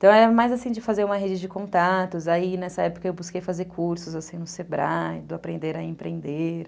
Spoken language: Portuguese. Então era mais assim de fazer uma rede de contatos, aí nessa época eu busquei fazer cursos no Sebrae, do aprender a empreender.